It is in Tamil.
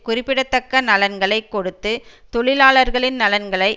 குறிப்பிடத்தக்க நலன்களை கொடுத்து தொழிலாளர்களின் நலன்களை